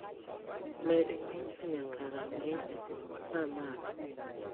med ng'injo nyaka rang'iny mamalo